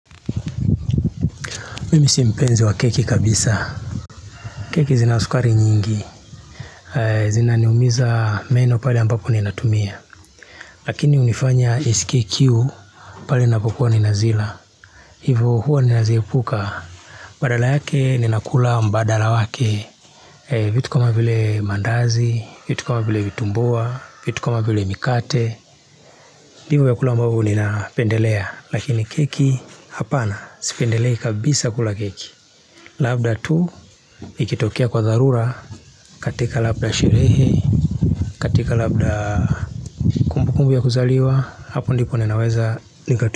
Mimi si mpenzi wa keki kabisa. Keki zina sukari nyingi. Zina niumiza meno pale ambapo ninatumia. Lakini hunifanya nisikie kiu pale ninapokuwa ninazila. Hivo huwa ninaziepuka. Badala yake ninakula mbadala wake. Vitu kuma vile mandazi, vitu kama vile vitumbua, vitu kama vile mikate. Hivo vyakula ambavyo ninapendelea. Lakini keki, hapana sipendelei kabisa kula keki. Labda tu ikitokea kwa dharura katika labda sherehe, katika labda kumbu kumbu ya kuzaliwa, hapo ndipo ninaweza nikatu.